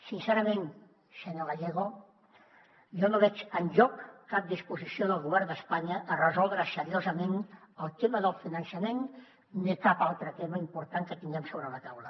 sincerament senyor gallego jo no veig enlloc cap disposició del govern d’espanya a resoldre seriosament el tema del finançament ni cap altre tema important que tinguem sobre la taula